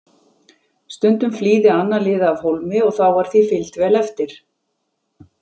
Stundum flýði annað liðið af hólmi og þá var því fylgt vel eftir.